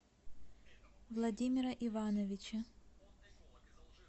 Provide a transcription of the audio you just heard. владимира ивановича